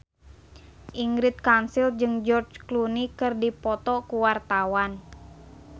Ingrid Kansil jeung George Clooney keur dipoto ku wartawan